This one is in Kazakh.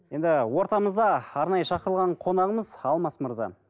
енді ортамызда арнайы шақырылған қонағымыз алмас мырза